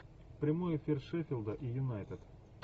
прямой эфир шеффилда и юнайтед